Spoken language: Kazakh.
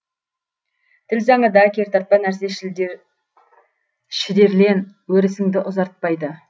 тіл заңы да кертартпа нәрсе шідерлен өрісіңді ұзартпайды